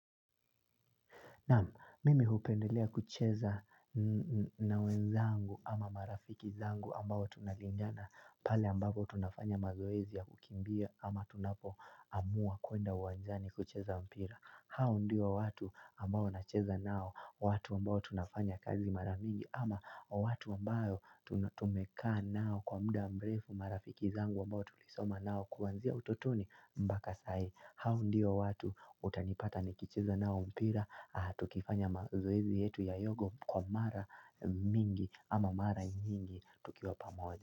Naam mimi hupendelea kucheza nawe zangu ama marafiki zangu ambao tunalindana pale ambapo tunafanya mazoezia kukimbia ama tunapo amua kuenda wanjani kucheza mpira. Hao ndiyo watu ambao na cheza nao, watu ambao tunafanya kazi maramingi ama watu ambayo tunatumeka nao kwa muda mbrefu marafiki zangu ambao tulisoma nao kuwanzia utotoni mbakasai hao ndiyo watu utanipata nikicheza nao mpira, tukifanya mazoezi yetu ya yogo kwa mara mingi ama mara mingi tukiwa pamoja.